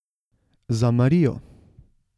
Za Marijo.